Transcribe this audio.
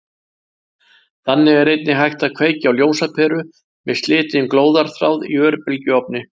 Þannig er einnig hægt að kveikja á ljósaperu með slitinn glóðarþráð í örbylgjuofni.